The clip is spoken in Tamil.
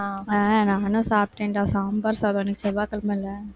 ஆஹ் நானும் சாப்பிட்டேன்டா, சாம்பார் சாதம், இன்னைக்கு செவ்வாய்கிழமையிலே